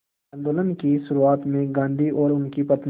आंदोलन की शुरुआत में ही गांधी और उनकी पत्नी